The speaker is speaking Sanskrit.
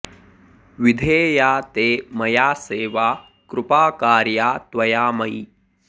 विधेया ते मया सेवा कृपा कार्या त्वया मयि